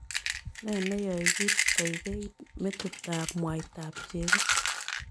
Nee neyoe kiit koigeit metitap mwaitap chego